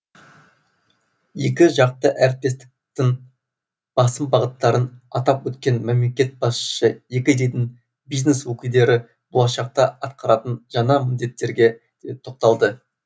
екі жақты әріптестіктің басым бағыттарын атап өткен мемлекет басшысы екі елдің бизнес өкілдері болашақта атқаратын жаңа міндеттерге де тоқталды